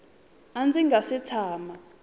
a ndzi nga si tshama